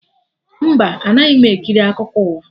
Mba, anaghị m ekiri akụkọ ụwa